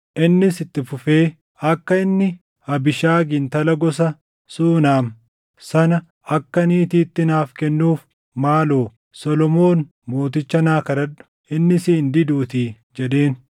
Innis itti fufee, “Akka inni Abiishagi intala gosa Suunam sana akka niitiitti naaf kennuuf maaloo Solomoon mooticha naa kadhadhu; inni si hin diduutii” jedheen.